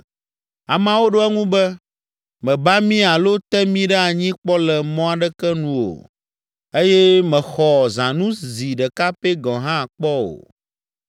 Ameawo ɖo eŋu be, “Mèba mí alo te mí ɖe anyi kpɔ le mɔ aɖeke nu o eye mèxɔ zãnu zi ɖeka pɛ gɔ̃ hã kpɔ o.”